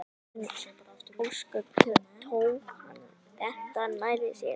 Andlit Arnar Höskuldssonar sveif mér fyrir hug